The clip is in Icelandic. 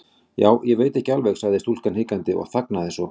Já, ég veit ekki alveg.- sagði stúlkan hikandi og þagnaði svo.